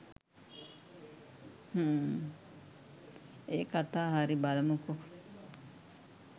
හ්ම් ඒ කතා හරි බලමුකෝ